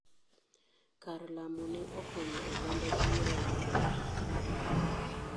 Kar lamo ne okonyo oganda buora yudo pii moromo.